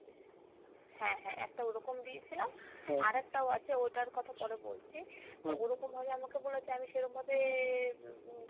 হ্যাঁ হ্যাঁ একটা ওরকম দিয়েছিলাম আরেকটাও আছে ওই টার কথা পরে বলছি, ওরকম ভাবে আমাকে বলেছে আমি সেরম ভাবে উম উম